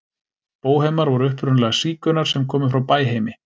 Bóhemar voru upprunalega sígaunar sem komu frá Bæheimi.